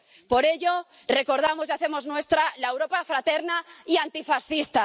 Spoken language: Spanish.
Por ello, recordamos y hacemos nuestra la Europa fraterna y antifascista.